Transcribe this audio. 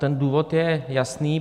Ten důvod je jasný.